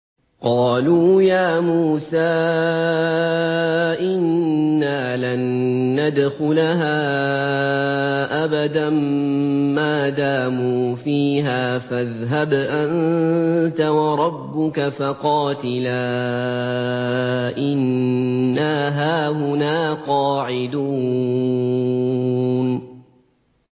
قَالُوا يَا مُوسَىٰ إِنَّا لَن نَّدْخُلَهَا أَبَدًا مَّا دَامُوا فِيهَا ۖ فَاذْهَبْ أَنتَ وَرَبُّكَ فَقَاتِلَا إِنَّا هَاهُنَا قَاعِدُونَ